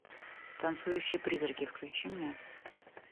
танцующие призраки включи мне